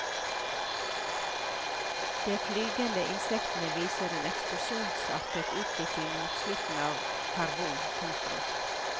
De flygende insektene viser en eksplosjonsartet utvikling mot slutten av karbon. punktum